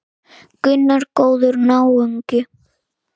Gunnar: Góður náungi?